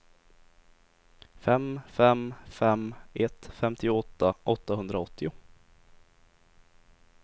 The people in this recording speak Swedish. fem fem fem ett femtioåtta åttahundraåttio